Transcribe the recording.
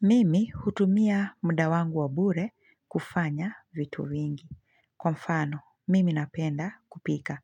Mimi hutumia mda wangu wa bure kufanya vitu vingi. Kwa mfano, mimi napenda kupika.